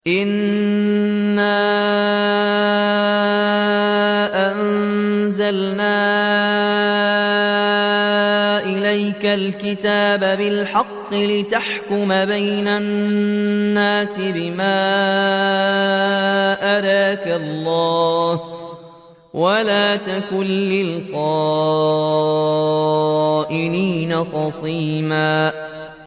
إِنَّا أَنزَلْنَا إِلَيْكَ الْكِتَابَ بِالْحَقِّ لِتَحْكُمَ بَيْنَ النَّاسِ بِمَا أَرَاكَ اللَّهُ ۚ وَلَا تَكُن لِّلْخَائِنِينَ خَصِيمًا